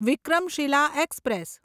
Vikramshila express